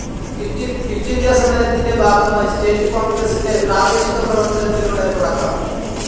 Quit India സമരത്തിൻ്റെ ഭാഗമായി state കോൺഗ്രസ്സിൻ്റെ പ്രാദേശിക പ്രവർത്തനത്തിലൂടെ തുടക്കം.